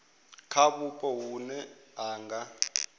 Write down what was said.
kha vhupo vhune ha nga